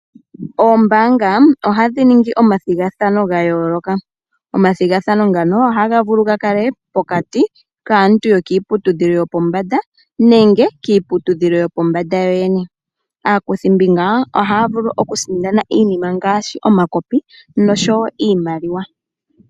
Oombaanga ohadhi ningi omathigathano ga yooloka. Omathigathano ngano ohaga vulu ga kale pokati kaantu yokiiputudhilo yopombanda nenge kiiputudhilo yopombanda yo yene. Aakuthimbinga ohaa vulu okusindana iinima ngaashi omakopi noshowo iimaliwa.